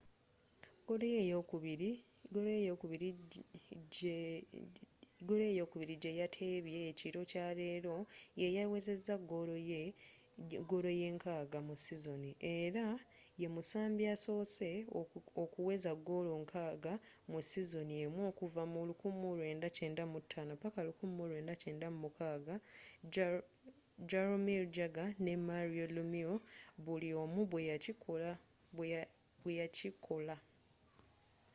goolo ye ey'okubiri gye yateebye ekiro kya leero yeyawezezza goolo ye 60 mu sizoni era ye musambi asoose okuweza goolo 60 mu sizoni emu okuva mu 1995-1996 jaromir jagr nne mario lemieux buli omu bwe yakikola